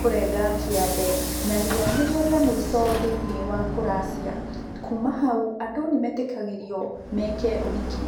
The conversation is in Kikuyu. kũrenga kĩande, narĩo nĩrĩo rĩa mũico thĩinĩ wa kũracia. Kuma hau, andũ nĩmetĩkagĩrio meke ũhiki.